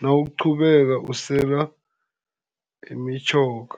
nawuqhubeka usela imitjhoga.